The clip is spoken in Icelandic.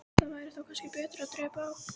Það væri þó kannski betra að dreypa á.